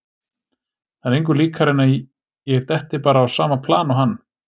Það er engu líkara en að ég detti bara á sama plan og hann.